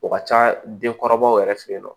O ka ca denkɔrɔbaw yɛrɛ fɛ yen nɔ